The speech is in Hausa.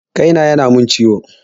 Kai na ya na mun ciwo